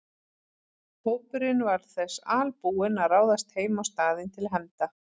Hópurinn var þess albúinn að ráðast heim á staðinn til hefnda.